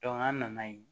an nana yen